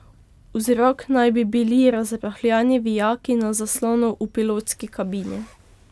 Vzrok naj bi bili razrahljani vijaki na zaslonu v pilotski kabini.